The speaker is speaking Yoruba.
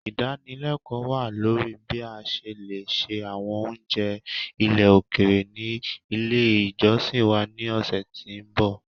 Idanileko wa lori bi a ṣe le se awọn ounjẹ ile okere ni ile ijọsin wa ni ọsẹ ti nbọ.